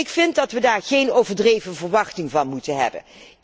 Ik vind dat wij daar geen overdreven verwachting van moeten hebben.